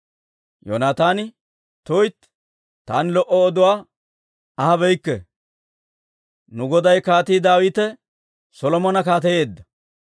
Yoonataani, «tuytti, taani lo"o oduwaa ahabeyikke! Nu goday Kaatii Daawite Solomona kaateyeedda.